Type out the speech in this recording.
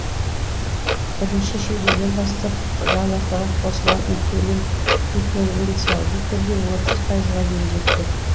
бірінші шілдеден бастап жалақыға қосылатын төлем дифференциалды түрде отыз пайызға дейін жетпек